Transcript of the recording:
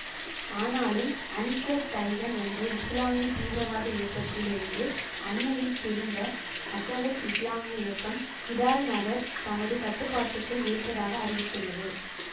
ஆனாலும் அன்சார் தைதன் என்ற இசுலாமிய தீவிரவாத இயக்கத்தில் இருந்து அண்மையில் பிரிந்த அசவாத் இசுலாமிய இயக்கம் கிடால் நகர் தமது கட்டுப்பாட்டுக்குள் இருப்பதாக அறிவித்துள்ளது